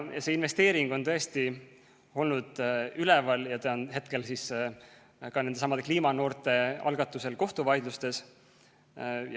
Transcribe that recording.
Ja see investeering on tõesti olnud teemana üleval, praegu on see nendesamade kliimanoorte algatusel kohtuvaidlustes.